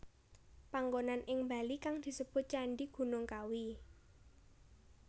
Panggonan ing Bali kang disebut Candhi Gunung Kawi